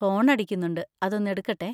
Phone അടിക്കുന്നുണ്ട്, അതൊന്നെടുക്കട്ടെ.